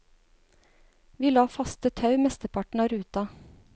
Vi la faste tau mesteparten av ruta.